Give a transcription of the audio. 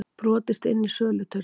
Brotist inn í söluturn